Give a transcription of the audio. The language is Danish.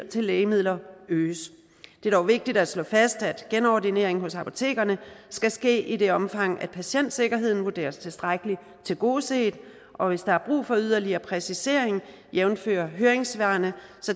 til lægemidler øges det er dog vigtigt at slå fast at genordineringen hos apotekerne skal ske i det omfang at patientsikkerheden vurderes tilstrækkeligt tilgodeset og hvis der er brug for yderligere præcisering jævnfør høringssvarene